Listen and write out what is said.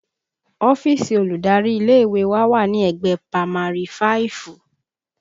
Ọ́fíìsì olùdarí ilé ìwé wà ní ẹ̀gbẹ́ pamari fáìfù